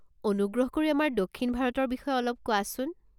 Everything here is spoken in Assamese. অনুগ্ৰহ কৰি আমাৰ দক্ষিণ ভাৰতৰ বিষয়ে অলপ কোৱাচোন।